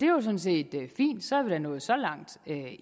jo sådan set fint så er vi da nået så langt